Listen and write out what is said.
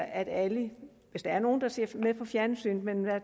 at alle hvis der er nogle der ser med på fjernsynet men